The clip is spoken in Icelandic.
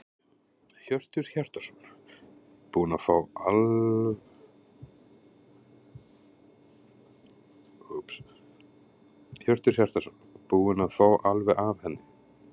Hjörtur Hjartarson: Búin að fá alveg af henni?